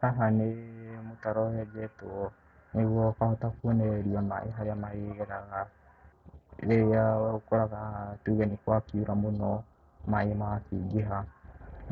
Haha nĩ mũtaro wenjetwo nĩguo ũkahota kuonereria maĩ harĩa marĩgeraga rĩrĩa ũkoraga haha tuge nĩ gwakiura mũno maĩ magakĩingĩha.